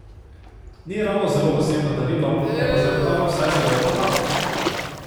Ni ravno zelo osebno darilo, je pa zagotovo vsaj zelo uporabno!